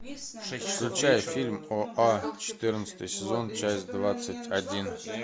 включай фильм оа четырнадцатый сезон часть двадцать один